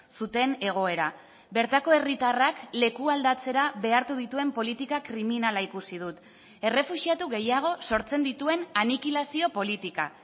zuten egoera bertako herritarrak lekualdatzera behartu dituen politika kriminala ikusi dut errefuxiatu gehiago sortzen dituen anikilazio politika